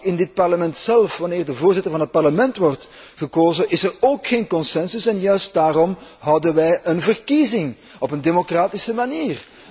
In dit Parlement zelf, wanneer de Voorzitter van het Parlement wordt gekozen, is er ook geen consensus en juist daarom houden wij een verkiezing op een democratische manier.